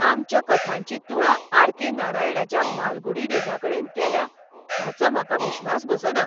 आमच्या कथांची तुळा आर.के. नारायणाच्या मालगुडी डेजाकडेन केल्या हाचो म्हाका विश्वास बसना!